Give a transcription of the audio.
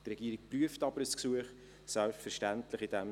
Die Regierung prüft aber selbstverständlich ein Gesuch.